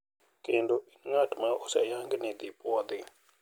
Kendo in ng`at ma oseyang ni idhi puodhi.